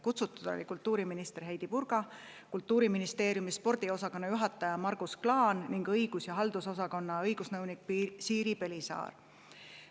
Kutsutud olid kultuuriminister Heidy Purga, Kultuuriministeeriumi spordiosakonna juhataja Margus Klaan ning õigus- ja haldusosakonna õigusnõunik Siiri Pelisaar.